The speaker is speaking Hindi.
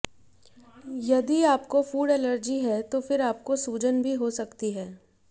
यदि आपको फ़ूड एलर्जी है तो फिर आपको सूजन भी हो सकती है